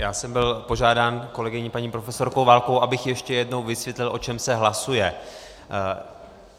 Já jsem byl požádán kolegyní paní profesorkou Válkovou, abych ještě jednou vysvětlil, o čem se hlasuje.